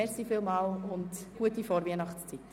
Ich wünsche Ihnen eine gute Vorweihnachtszeit.